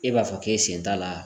E b'a fɔ k'e sen t'a la